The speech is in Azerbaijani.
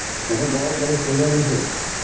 Məsələn qabaq belə şeylər yox idi.